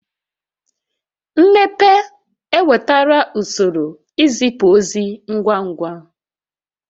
Mmepe ewetala usoro izipu ozi ngwa ngwa